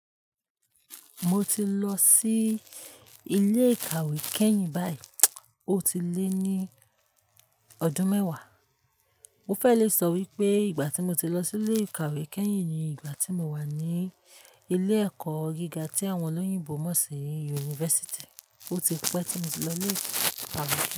Mo ti lọ sí ilé ìkàwé kẹ́yìn báyìí, ó ti lé ní ọdún mẹ́wàá. Mo fẹ́ lè sọ wípé ìgbà tí mo ti lọ sí ilé ìkàwé kẹ́yìn ni ìgbà tí mo wà ní ilé ẹ̀kọ́ gíga tí àwọn olóyìnbo mọ̀ sí yunifásítì, ó ti pẹ́ tí mo ti lọ ilé ìkàwé.